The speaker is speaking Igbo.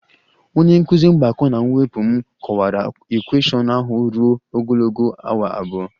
Onye nkụzi mgbakọ na mwepụ m kọwara equation ahụ ruo ogologo awa abụọ